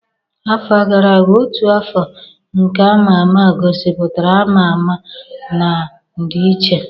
Afọ gara aga, ọtú afọ nke ama ama gosipụtara ama ama na ndịiche.